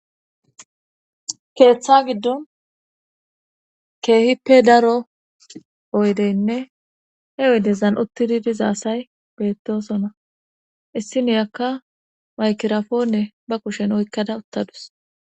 keeththa giddon keehippe daro oyddenne he oyddezan uttidii dizaayssi beettosona issiniyakka maykirafonne ba kushen oykkada uttadus